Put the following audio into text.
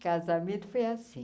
Casamento foi assim.